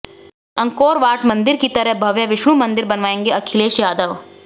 Angkor Wat मंदिर की तरह भव्य विष्णु मंदिर बनवाएंगे अखिलेश यादव